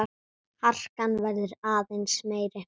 Harkan verður aðeins meiri.